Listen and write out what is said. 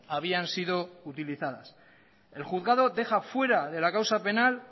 habían sido utilizadas el juzgado deja fuera de la causa penal